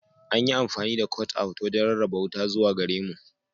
An yi amfani da "cutout" wajen rarraba wuta zuwa gare mu.